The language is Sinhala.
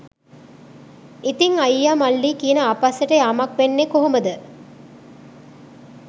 ඉතිං අයියා මල්ලි කියන ආපස්සට යාමක් වෙන්නේ කොහොමද?